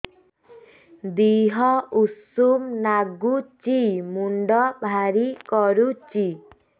ଦିହ ଉଷୁମ ନାଗୁଚି ମୁଣ୍ଡ ଭାରି କରୁଚି